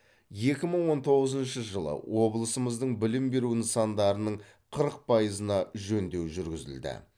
екі мың он тоғызыншы жылы облысымыздың білім беру нысандарының қырық пайызына жөндеу жүргізілді